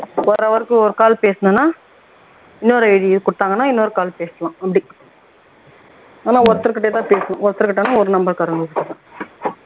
ஒரு hour க்கு ஒரு call பேசினோம்னா இன்னொரு ID குடுத்தாங்கன்னா இன்னொரு call பேசலாம் அப்படி ஆனா ஒருத்தர்கிட்டதான் பேசணும் ஒருத்தர்கிட்டன்னா ஒரு number காரங்ககிட்டதான்